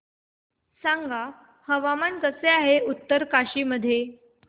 सांगा हवामान कसे आहे उत्तरकाशी मध्ये